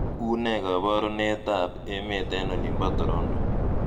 unee koborunet ab emet en olimpo toronto